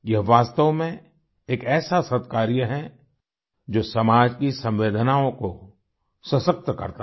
यह वास्तव में एक ऐसा सत्कार्य है जो समाज की संवेदनाओं को सशक्त करता है